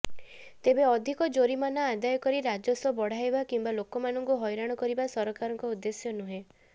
ତେବେ ଅଧିକ ଜୋରିମାନା ଆଦାୟ କରି ରାଜସ୍ବ ବଢାଇବା କିମ୍ବା ଲୋକମାନଙ୍କୁ ହଇରାଣ କରିବା ସରକାରଙ୍କ ଉଦ୍ଦେଶ୍ୟ ନୁହେଁ